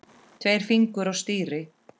Tveir fingur á stýri.